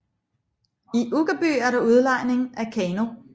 I Uggerby er der udlejning af kano